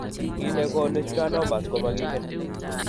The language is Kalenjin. Kiiy ne koonu schwannomas komakiinken.